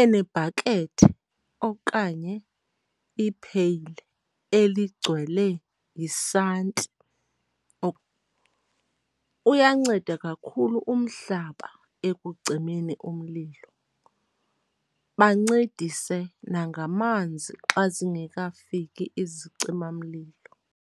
enebhakethe okanye ipheyile eligcwele yisanti. Uyanceda kakhulu umhlaba ekugcineni umlilo, bancedise nangamanzi xa zingekafiki izicimamlilo.